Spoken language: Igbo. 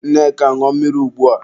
Nneka, ṅụọ mmiri ugbua!